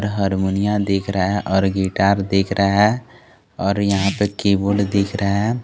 हरमोनिया दिख रहा है और गिटार दिख रहा है और यहां पे कीबोर्ड दिख रहा है।